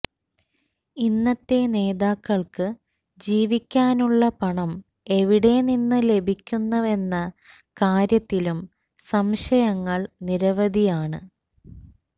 ഇന്നത്തെ നേതാക്കൾക്ക് ജീവിക്കാനുള്ള പണം എവിടെ നിന്ന് ലഭിക്കുന്നുവെന്ന കാര്യത്തിലും സംശയങ്ങൾ നിരവധിയാണ്